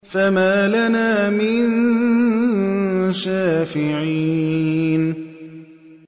فَمَا لَنَا مِن شَافِعِينَ